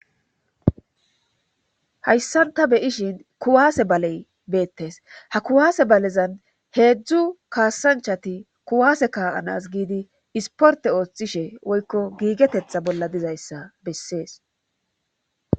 hayssan ta beyishin kuwaase baley beettes ha kuwaase balezan heedzdzu kaassanchati kuwaase kaa7anas giidi isporte ooththishe woykko giigetetha bolla dizayssa bessees